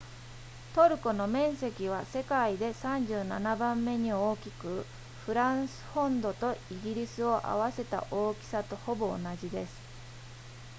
トルコの面積は世界で37番目に大きくフランス本土とイギリスを合わせた大きさとほぼ同じです